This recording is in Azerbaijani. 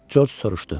Corc soruşdu.